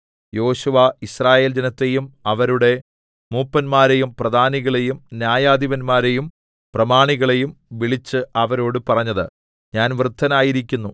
യോശുവ യിസ്രായേൽ ജനത്തെയും അവരുടെ മൂപ്പന്മാരെയും പ്രധാനികളെയും ന്യായാധിപന്മാരെയും പ്രമാണികളെയും വിളിച്ച് അവരോട് പറഞ്ഞത് ഞാൻ വൃദ്ധനായിരിക്കുന്നു